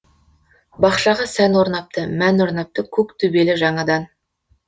бақшаға сән орнапты мән орнапты көк төбелі жаңадан